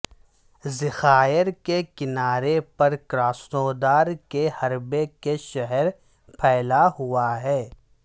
ذخائر کے کنارے پر کراسنودار کے حربے کے شہر پھیلا ہوا ہے